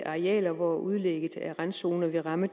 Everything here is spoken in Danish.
arealer hvor udlægget af randzoner vil ramme